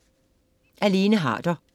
Af Lene Harder